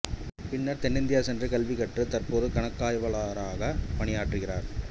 பின்னர் தென்னிந்தியா சென்று கல்வி கற்றுத் தற்போது கணக்காய்வாளராகப் பணியாற்றுகிறார்